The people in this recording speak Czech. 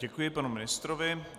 Děkuji panu ministrovi.